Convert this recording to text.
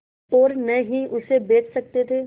और न ही उसे बेच सकते थे